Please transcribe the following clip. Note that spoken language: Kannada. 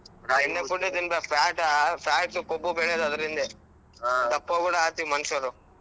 ತಿನಬೇ~ fat fat ಕೊಬ್ಬು ಬೆಳೆಯೊದ್ ಅದರಿಂದೆ ಕೂಡಾ ಆಗ್ತೀವಿ ಮನುಷರೂ.